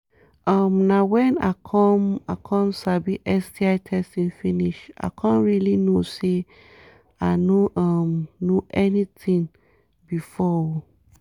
um na when i come i come sabi sti testing finish i come really know say i no um know anything before um